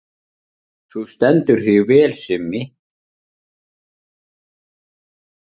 Þú stendur þig vel, Simmi!